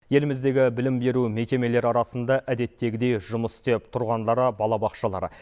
еліміздегі білім беру мекемелері арасында әдеттегідей жұмыс істеп тұрғандары балабақшалар